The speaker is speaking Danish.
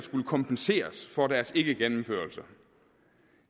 kompenseres for deres ikkegennemførelse